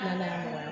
Ala y'a